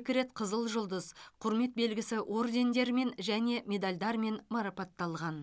екі рет қызыл жұлдыз құрмет белгісі ордендерімен және медальдармен марапатталған